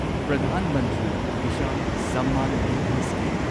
Pradhan Mantri Kisan Samman Nidhi scheme